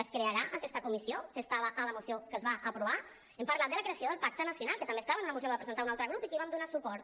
es crearà aquesta comissió que estava a la moció que es va aprovar hem parlat de la creació del pacte nacional que també estava en una moció que va presentar un altre grup i que hi vam donar suport